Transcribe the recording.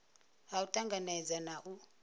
ha u tanganedza na u